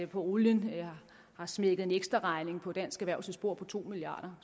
på olien har smækket en ekstraregning på dansk erhvervslivs bord på to milliard